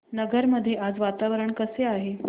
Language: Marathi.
नगर मध्ये आज वातावरण कसे आहे